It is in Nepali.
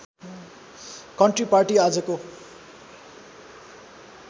कन्ट्री पार्टी आजको